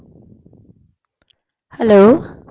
hello